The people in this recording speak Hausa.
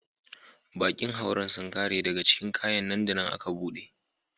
Bakin hauren sun kare daga cikin kayan nan da nan aka bude.